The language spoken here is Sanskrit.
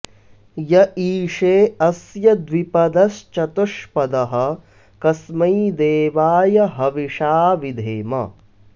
य ईशे अ॒स्य द्वि॒पद॒श्चतु॑ष्पदः॒ कस्मै॑ दे॒वाय॑ ह॒विषा॑ विधेम